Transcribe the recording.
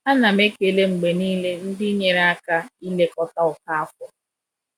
A na m ekele mgbe niile ndị nyere aka ilekọta Okafor.